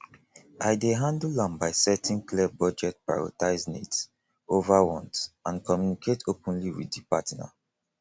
i dey handle am by setting clear budget prioritize needs over wants and communicate openly with di partner